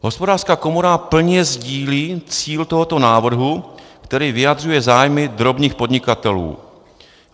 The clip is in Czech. Hospodářská komora plně sdílí cíl tohoto návrhu, který vyjadřuje zájmy drobných podnikatelů.